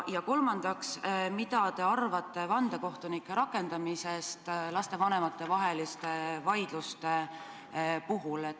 Kolmandaks, mida te arvate vandekohtunike rakendamisest lastevanemate vaidluste puhul?